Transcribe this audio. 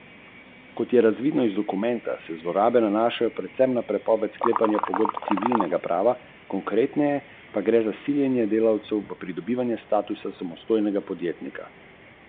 Občina je v zalivu tik ob prireditvenem prostoru Pod skalco uredila priveze za čolne, za vsak privez pa mora uporabnik občini plačati pristojbino.